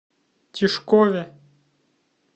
тишкове